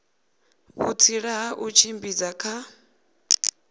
vhutsila ha u tshimbidza kha